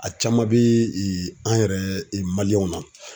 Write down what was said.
A caman be ee an yɛrɛ na.